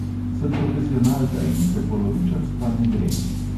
Sem profesionalka in se polovičarstva ne grem.